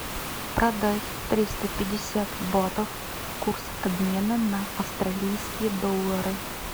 продать триста пятьдесят батов курс обмена на австралийские доллары